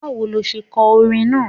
Báwo lo se ko orin náà?